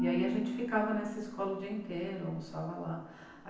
E aí a gente ficava nessa escola o dia inteiro, almoçava lá.